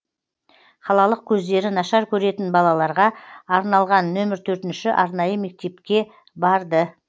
қалалық көздері нашар көретін балаларға арналған нөмір төртінші арнайы мектепке барды